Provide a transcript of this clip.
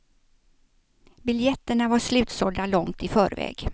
Biljetterna var slutsålda långt i förväg.